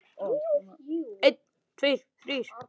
Svo góður var hann.